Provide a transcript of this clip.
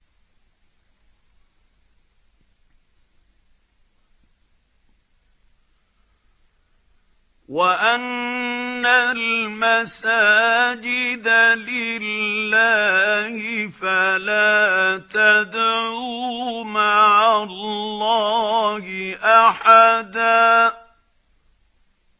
وَأَنَّ الْمَسَاجِدَ لِلَّهِ فَلَا تَدْعُوا مَعَ اللَّهِ أَحَدًا